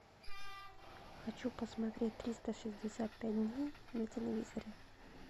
хочу посмотреть триста шестьдесят пять дней на телевизоре